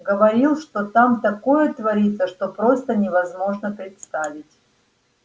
говорил что там такое творится что просто невозможно представить